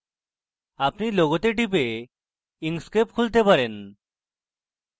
আপনি লোগোতে টিপে inkscape খুলতে পারেন